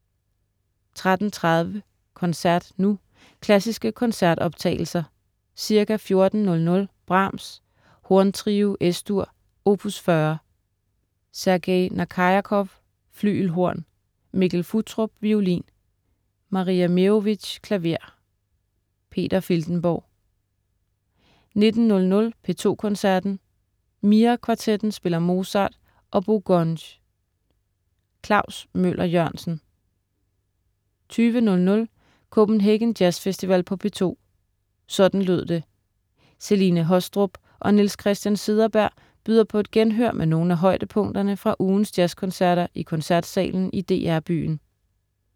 13.03 Koncert nu. Klassiske koncertoptagelser. Ca. 14.00 Brahms: Horntrio, Es-dur, opus 40. Sergej Nakarjakov, flygelhorn. Mikkel Futtrup, violin. Maria Meerovich, klaver. Peter Filtenborg 19.00 P2 Koncerten. Mira Kvartetten spiller Mozart og Bo Gunge. Klaus Møller-Jørgensen 20.00 Copenhagen Jazz Festival på P2. Sådan lød det. Celine Haastrup og Niels Christian Cederberg byder på et genhør med nogle af højdepunkterne fra ugens jazzkoncerter i Koncertsalen i DR Byen